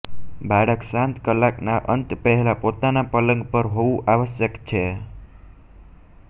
બાળક શાંત કલાક ના અંત પહેલા પોતાના પલંગ પર હોવું આવશ્યક છે